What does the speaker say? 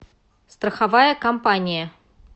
страховая компания